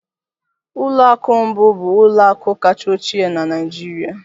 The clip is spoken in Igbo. ụlọ akụ mbụ bụ ụlọ akụ kacha ochie na Nigeria.